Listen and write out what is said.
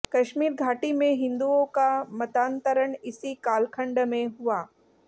कश्मीर घाटी में हिंदुओं का मतांतरण इसी कालखंड में हुआ